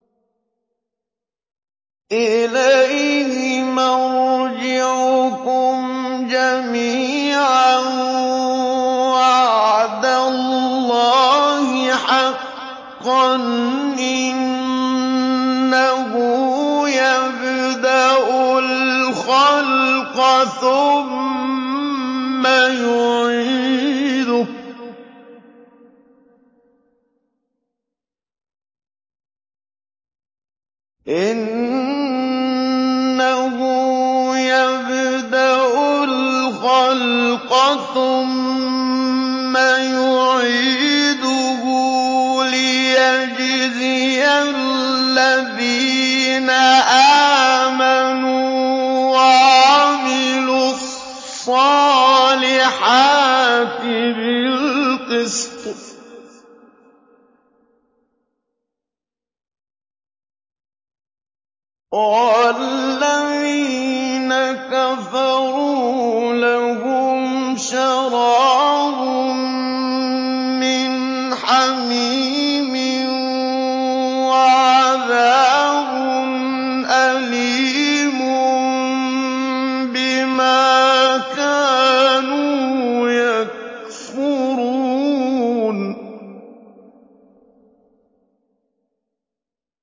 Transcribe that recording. إِلَيْهِ مَرْجِعُكُمْ جَمِيعًا ۖ وَعْدَ اللَّهِ حَقًّا ۚ إِنَّهُ يَبْدَأُ الْخَلْقَ ثُمَّ يُعِيدُهُ لِيَجْزِيَ الَّذِينَ آمَنُوا وَعَمِلُوا الصَّالِحَاتِ بِالْقِسْطِ ۚ وَالَّذِينَ كَفَرُوا لَهُمْ شَرَابٌ مِّنْ حَمِيمٍ وَعَذَابٌ أَلِيمٌ بِمَا كَانُوا يَكْفُرُونَ